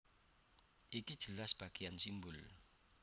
Iki jelas bagéan simbol